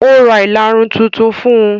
Ó Ra ìlarun tuntun fún un.